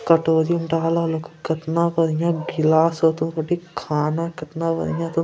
कटोरी म डाहला लको कतना बढ़िया गिलास होतो कटी खाना केतना बढ़िया तो --